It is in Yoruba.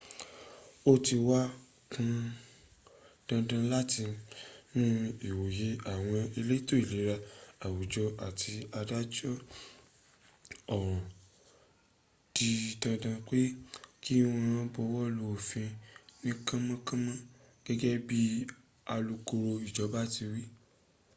ó ti wá pọn dandan látinú ìwòye àwọn elétò ìlera àwùjọ àti adájọ́ ọ̀ràn dídá pé kí wọ́n buwọ́lu òfin ní kánmọ́ kánmọ́ gẹ́gẹ́ bí alukoro ìjọba ti wí